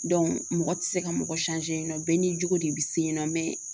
mɔgɔ tɛ se ka mɔgɔ yen nɔ bɛɛ n'i jogo de bɛ se yen nɔ mɛ